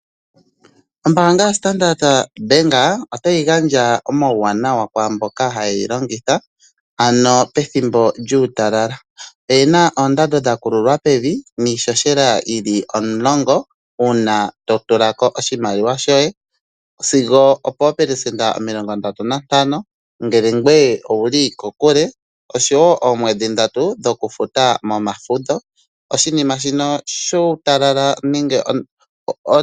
Ombaanga ya Standard otayi gandja omawuwanawa kwaamboka hayeyi longitha ano pethimbo lyuutalala oyina oondando dha kululwa pevi niishoshela yili omulongo uuna totulako oshimaliwa shoye sigo opoopelesenda omilongo ndatu nantano ngele ngoye owuli kokule oshowo oomwedhi ndatu dhokufuta momafudho.